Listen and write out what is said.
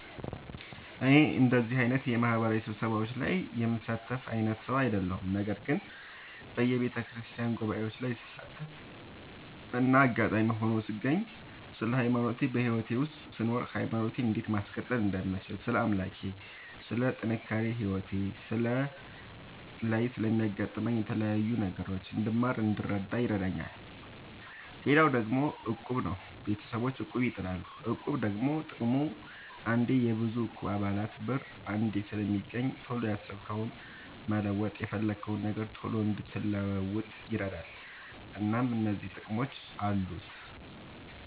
እኔ እንደዚህ አይነት የማህበራዊ ስብሰባዎች ላይ የምሳተፍ አይነት ሰው አይደለሁም። ነገር ግን በየቤተክርስቲያን ጉባኤዎች ላይ ስሳተፍና አጋጣሚ ሆኖ ስገኝ ስለ ሃይማኖቴ በህይወቴ ውስጥ ስኖር ሃይማኖቴን እንዴት ማስቀጠል እንደምችል ስለ አምላኬ ስለ ጥንካሬ ህይወቴ ላይ ስለሚያጋጥሙኝ የተለያዩ ነገሮች እንድማር እንድረዳ ይረዳኛል። ሌላው ደግሞ እቁብ ነው። ቤተሰቦቼ እቁብ ይጥላሉ። እቁብ ደግሞ ጥቅሙ አንዴ የብዙ እቁብ የአባላት ብር አንዴ ስለሚገኝ ቶሎ ያሰብከውን መለወጥ የፈለግከውን ነገር ቶሎ እንድትለውጥ ይረዳል። እናም እነዚህ ጥቅሞች አሉት።